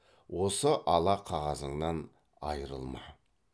осы ала қағазыңнан айрылма